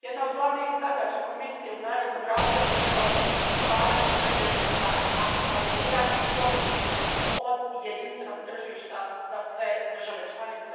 jedna od glavnih zadaća Komisije u narednom razdoblju trebala bi biti stvaranje preduvjeta za maksimaliziranje koristi od jedinstvenog tržišta za sve države članice.